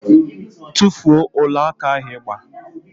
Tufuo ọlaaka ahụ ị gba!